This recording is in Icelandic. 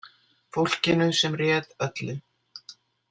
Fólkinu sem réð öllu.